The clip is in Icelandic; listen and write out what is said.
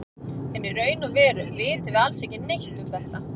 En í raun og veru vitum við alls ekki neitt um þetta.